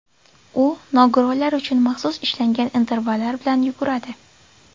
U nogironlar uchun maxsus ishlangan intervallar bilan yuguradi.